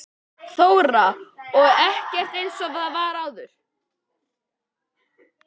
Þóra: Og ekkert eins og var áður?